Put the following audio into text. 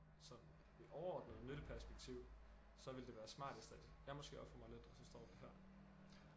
Sådan det overordnede nytteperspektiv så ville det være smartest at jeg måske ofrer mig lidt og så står det her